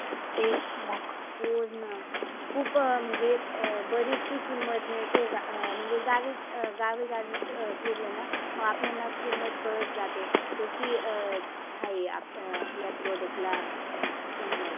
तेच मग हो ना. खुप म्हणजे अं बरिशीक किंमत मिळते बा गावी गावी गावी फिरल ना मग आपल्याना किंमत कळत जाते. कशी अं हाए आपल्या product ला अं किंमत.